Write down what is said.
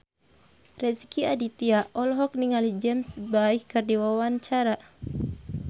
Rezky Aditya olohok ningali James Bay keur diwawancara